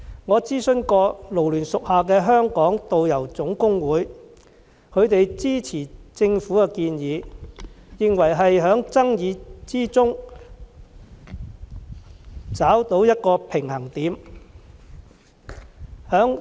我曾經諮詢港九勞工社團聯會屬下的香港導遊總工會，他們支持政府的建議，認為這是在爭議之中找到一個平衡點。